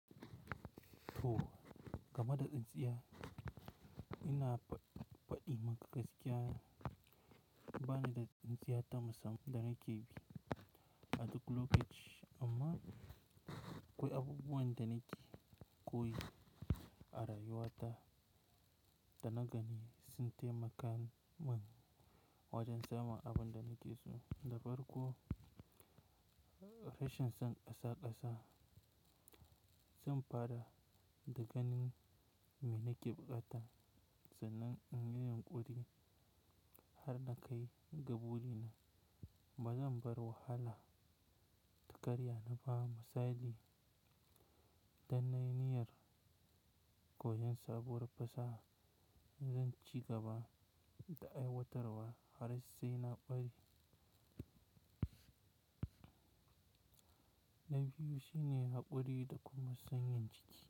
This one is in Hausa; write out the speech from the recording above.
To, game da tsintsiya ina faɗi maka gaskiya, bani da tsintsiya ta musamman da nake bi a duk lokaci amma akwai abubuwan da nake koyi a rayuwa ta da na gan sun taimaka min wajen samun abin da nake so. Da farko rashin son ƙasaƙasa zan fara da ganin me nake buƙata sannan in yi yunƙuri har na kai ga burina. Ba zan bar wahala ta karya ni ba. Misali idan na yi niyar koyon sabuwar fasaha, zan ci gaba da aiwatarwa har sai na ƙware. Na biyu shine haƙuri da kuma sanyin jiki.